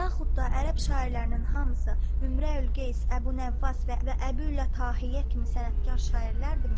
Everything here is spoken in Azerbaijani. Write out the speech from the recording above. Yaxud da ərəb şairlərinin hamısı Ümrəül Qeyis, Əbu Nəvvas və Əbül Ülə Tahiyə kimi sənətkar şairlərdirmi?